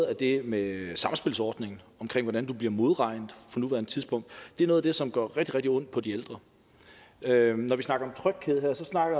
at det med samspilsordningen omkring hvordan du bliver modregnet på nuværende tidspunkt er noget af det som gør rigtig rigtig ondt på de ældre når vi snakker